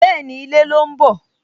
Bẹ́ẹ̀ni, ilẹ̀ ló ń bọ̀